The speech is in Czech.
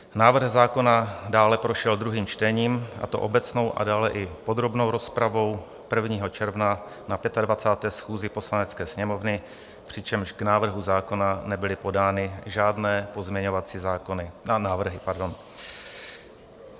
Návrh zákona dále prošel druhým čtením, a to obecnou a dále i podrobnou rozpravou, 1. června na 25. schůzi Poslanecké sněmovny, přičemž k návrhu zákona nebyly podány žádné pozměňovací návrhy.